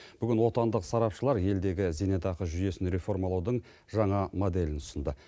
бүгін отандық сарапшылар елдегі зейнетақы жүйесін рефомалаудың жаңа моделін ұсынды